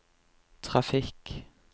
trafikk